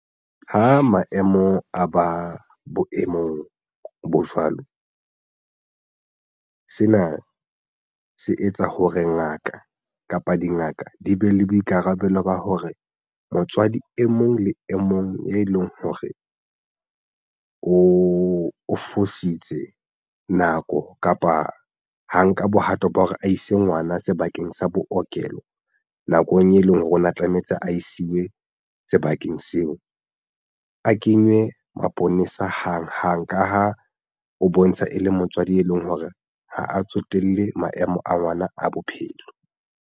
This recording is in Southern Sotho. Ha maemo a ba boemong bo jwalo sena se etsa ho re ngaka kapa dingaka di be le boikarabelo ba hore motswadi e mong le e mong e leng hore o fositse nako kapa ha nka bohato ba hore a ise ngwana sebakeng sa bo okelo nakong e leng hore o na tlametse a isiwe sebakeng seo. A kenywe maponesa hang hang ka ha o bontsha e le motswadi e leng hore ha a tsotelle maemo a ngwana a bophelo.